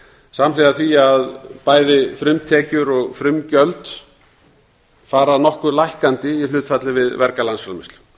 samhliða því að bæði frumtekjur og frumgjöld fara nokkuð lækkandi í hlutfalli við verga landsframleiðslu